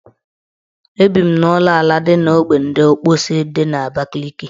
Ebi m n' ụlọala dị n' ogbe ndị Ọkpọsị dị n' Abakaliki